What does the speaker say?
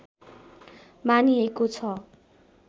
मानिएको छ